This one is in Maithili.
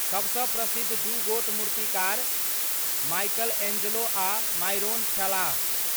सबसँ प्रसिद्ध दू गोट मूर्तिकार माइकलएंजेलो आ मायरोन छलाह।